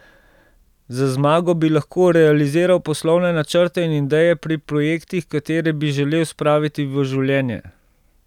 Z zmago bi lahko realiziral poslovne načrte in ideje pri projektih, katere bi želel spraviti v življenje.